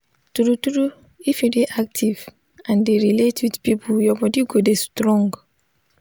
true true if you dey active and dey relate with people your body go dey strong